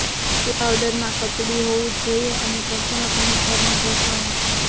તે પાવડર માં કચડી હોવું જ જોઈએ અને સંપૂર્ણપણે ફર માં ઘસવામાં